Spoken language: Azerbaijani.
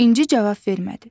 İnci cavab vermədi.